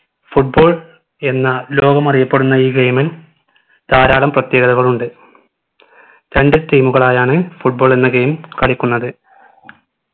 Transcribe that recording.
football എന്ന ലോകം അറിയപ്പെടുന്ന ഈ game ൽ ധാരാളം പ്രത്യേകതകളുണ്ട് രണ്ടു team മുകളായാണ് football എന്ന game കളിക്കുന്നത്